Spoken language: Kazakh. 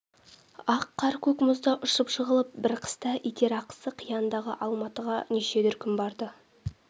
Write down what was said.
ақ қар-көк мұзда ұшып-жығылып бір қыста итарқасы қияндағы алматыға неше дүркін барды